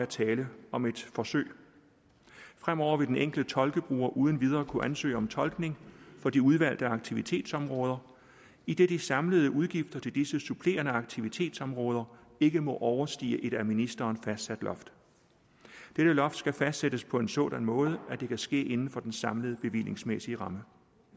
tale om et forsøg fremover vil den enkelte tolkebruger uden videre kunne ansøge om tolkning på de udvalgte aktivitetsområder idet de samlede udgifter til disse supplerende aktivitetsområder ikke må overstige et af ministeren fastsat loft dette loft skal fastsættes på en sådan måde at det kan ske inden for den samlede bevillingsmæssige ramme